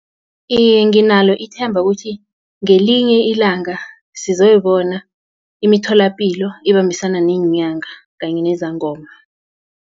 Iye, nginalo ithemba ukuthi ngelinye ilanga sizoyibona imitholapilo ibambisana neenyanga kanye nezangoma.